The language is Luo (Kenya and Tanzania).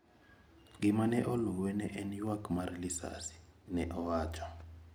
Gima ne oluwe ne en yuak mar lisase, ne owacho.